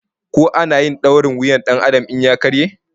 Ko ana yin dorin wuyar Dan Adam in ta karye?